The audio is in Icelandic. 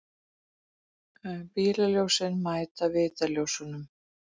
Bílljósin mæta vitaljósunum.